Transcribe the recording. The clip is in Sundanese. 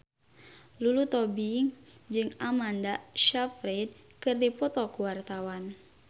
Lulu Tobing jeung Amanda Sayfried keur dipoto ku wartawan